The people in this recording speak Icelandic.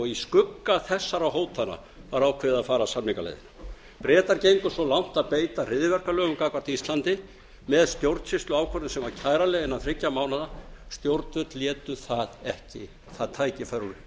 og í skugga þessara hótana var ákveðið að fara samningaleiðina bretar gengu svo langt að beita hryðjuverkalögum gagnvart íslandi með stjórnsýsluákvörðun sem var kæranleg innan þriggja mánaða stjórnvöld létu það tækifæri